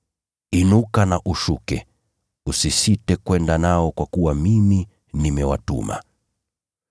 Inuka na ushuke, usisite kwenda nao kwa kuwa mimi nimewatuma.”